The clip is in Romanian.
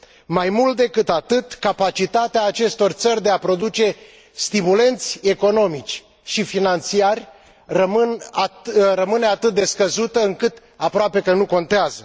mai mult decât atât, capacitatea acestor țări de a produce stimulente economici și financiari rămâne atât de scăzută, încât aproape că nu contează.